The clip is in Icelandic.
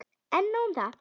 En nóg um það.